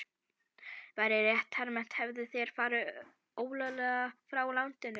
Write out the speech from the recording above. Væri rétt hermt, hefðu þeir farið ólöglega frá landinu.